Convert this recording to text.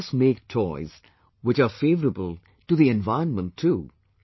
Let us make toys which are favourable to the environment too